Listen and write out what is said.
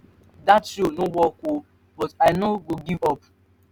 dat show no work oo but i no go give up.